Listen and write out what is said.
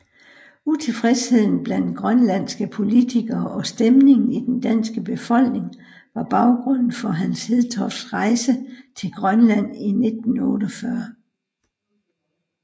Utilfredsheden blandt grønlandske politikere og stemningen i den danske befolkning var baggrunden for Hans Hedtofts rejse til Grønland i 1948